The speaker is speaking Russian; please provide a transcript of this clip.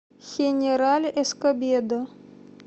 хенераль эскобедо